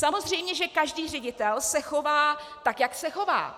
Samozřejmě že každý ředitel se chová tak, jak se chová.